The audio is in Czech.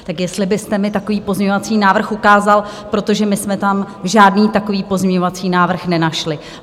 Tak jestli byste mi takový pozměňovací návrh ukázal, protože my jsme tam žádný takový pozměňovací návrh nenašli.